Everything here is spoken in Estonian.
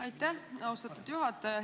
Aitäh, austatud juhataja!